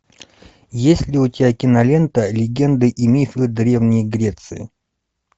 есть ли у тебя кинолента легенды и мифы древней греции